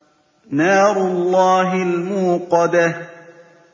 نَارُ اللَّهِ الْمُوقَدَةُ